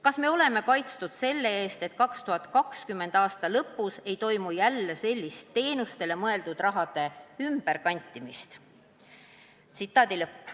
Kas me oleme kaitstud selle eest, et 2020. aasta lõpus ei toimu jälle sellist teenustele mõeldud raha ümberkantimist?